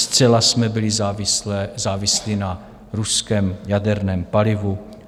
Zcela jsme byli závislí na ruském jaderném palivu.